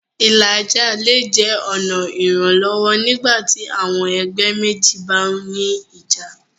Ìlàjà́ lẹ̀ jẹ́ ọ̀na iranlọwọ́ nígbàtí àwọn ẹgbẹ̀ mẹ́jì bá ní ìjà́.